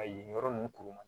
A yen yɔrɔ ninnu kuru ma